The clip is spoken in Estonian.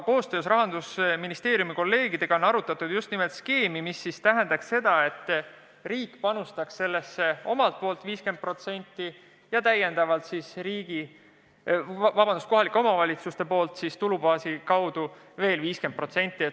Koostöös Rahandusministeeriumi kolleegidega on arutatud sellist skeemi, et riik panustaks sellesse 50% ja kohalike omavalitsuste tulubaasist tuleks veel 50%.